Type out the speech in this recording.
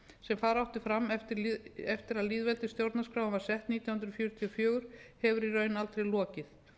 sem fara átti fram eftir að lýðveldisstjórnarskráin var sett nítján hundruð fjörutíu og fjögur hefur í raun aldrei lokið